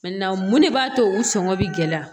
mun de b'a to u sɔngɔn bɛ gɛlɛya